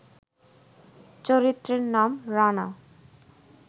চরিত্রের নাম ‘রানা’